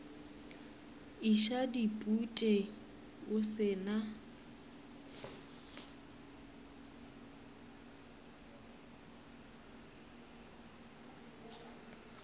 iša dipute o se na